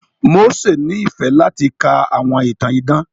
Mósè nífẹ̀ẹ́ láti ka àwọn ìtàn idán.